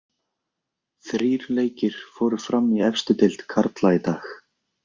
Þrír leikir fóru fram í efstu deild karla í dag.